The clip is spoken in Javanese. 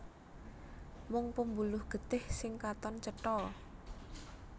Mung pembuluh getih sing katon cetha